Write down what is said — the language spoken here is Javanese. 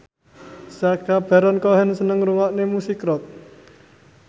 Sacha Baron Cohen seneng ngrungokne musik rock